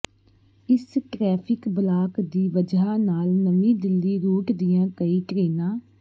ਇਸ traffic block ਦੀ ਵਜ੍ਹਾ ਨਾਲ ਨਵੀਂ ਦਿੱਲੀ ਰੂਟ ਦੀਆਂ ਕਈ ਟਰੇਨਾਂ